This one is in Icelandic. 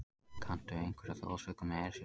Kanntu einhverja þjóðsögu um Esjuna?